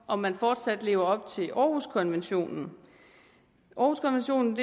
om man fortsat lever op til århuskonventionen århuskonventionen